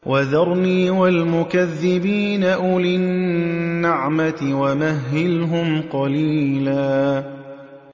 وَذَرْنِي وَالْمُكَذِّبِينَ أُولِي النَّعْمَةِ وَمَهِّلْهُمْ قَلِيلًا